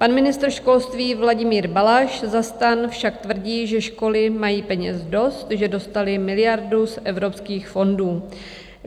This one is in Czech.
Pan ministr školství Vladimír Balaš za STAN však tvrdí, že školy mají peněz dost, že dostaly miliardu z evropských fondů.